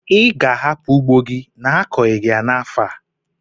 Ị ga-ahapụ ugbo gị n'akọghi ya n'afọ a?